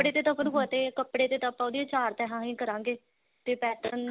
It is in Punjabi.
ਦੇ ਤਾਂ ਆਪਾਂ ਨੂੰ ਪਤਾ ਹੀ ਹੈ ਕੱਪੜੇ ਤੇ ਤਾਂ ਆਪਾਂ ਉਹਦੀਆਂ ਚਾਰ ਤੈਹਾਂ ਹੀ ਕਰਾਂਗੇ ਤੇ pattern